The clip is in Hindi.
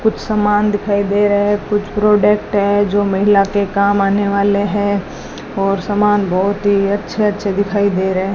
कुछ समान दिखाई दे रहे हैं कुछ प्रोडक्ट है जो महिला के काम आने वाले हैं और समान बहुत ही अच्छे अच्छे दिखाई दे रहे हैं।